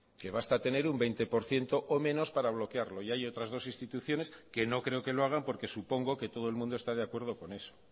que basta tener un veinte por ciento o menos para bloquearlo y hay otras dos instituciones que no creo que lo hagan porque supongo que todo el mundo está de acuerdo con eso